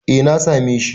Eh, na same shi.